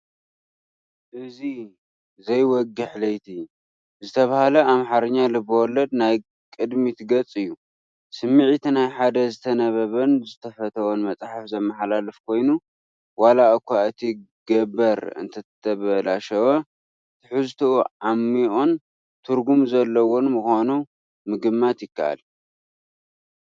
እዚ "ዘይወግሕ ለይቲ" ዝተባህለ ናይ ኣምሓርኛ ልብ ወለድ ናይ ቅድሚት ገጽ እዩ። ስምዒት ናይ ሓደ ዝተነበበን ዝተፈተወን መጽሓፍ ዘመሓላልፍ ኮይኑ፡ ዋላ እኳ እቲ ገበር እንተተበላሸወ፡ ትሕዝቶኡ ዓሚቝን ትርጉም ዘለዎን ምዃኑ ምግማት ይከኣል።